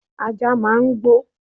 Ajá máà ń gbó